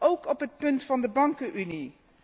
Ook op het punt van de bankenunie.